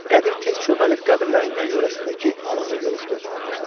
Qədir tez çöməlib qəbirlərin yan-yörəsindəki alağı yoloşdurmağa başladı.